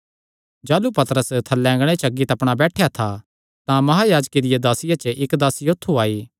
जाह़लू पतरस थल्लै अँगणे च बैठेया था तां महायाजके दियां दासियां च इक्क दासी औत्थू आई